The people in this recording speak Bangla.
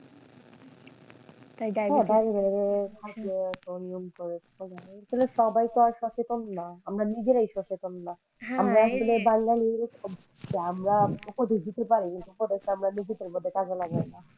অনিয়ম করে কারন সবাই তো আর সচেতন না আমরা নিজেরাই সচেতন না আমরা আমরা উপদেশ দিতে পারি কিন্তু আমরা উপদেশ নিজেদের মধ্যে কাজে লাগাইনা।